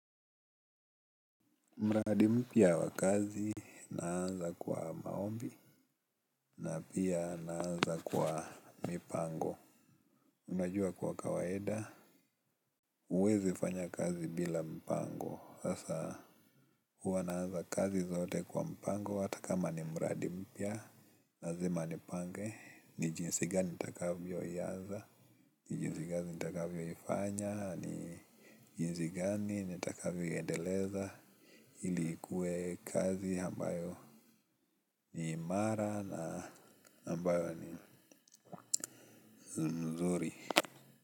Mradi mpya wa kazi, naanza kwa maombi, na pia naanza kwa mipango. Unajua kwa kawaida, uwezi fanya kazi bila mpango. Sasa, uwa naanza kazi zote kwa mpango, hata kama ni mradimpya lazima ni pange, ni jinsi gani takavyo yaanza, ni jinsi gani takavyo yifanya. Ni jinsi gani, ni takavyo iendeleza. Ilikue kazi ambayo ni mara na ambayo ni nzuri.